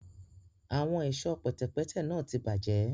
Awọn ẹṣọ pẹtẹpẹtẹ náà tí bajẹ